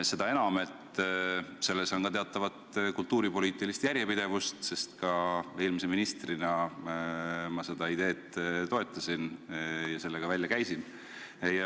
Seda enam, et selles on ka teatavat kultuuripoliitilist järjepidevust, sest eelmise ministrina ka mina seda ideed toetasin ja selle ka välja käisin.